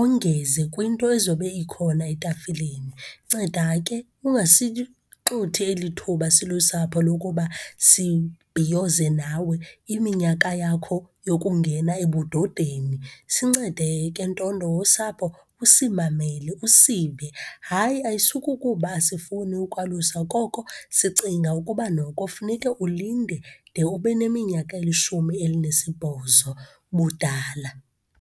ongeze kwinto ezobe ikhona etafileni. Nceda ke ungasixuthi elithuba silusapho lokuba sibhiyoze nawe iminyaka yakho yokungena ebudodeni. Sincede ke, ntondo wosapho, usimamele, usive. Hayi, ayisukukuba asifuni ukwalusa, koko sicinga ukuba noko funeke ulinde de ube neminyaka elishumi elinesibhozo budala.